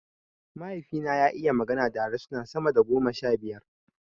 Mahaifi na ya iya magana da harsuna sama da goma sha biyu